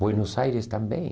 Buenos Aires também.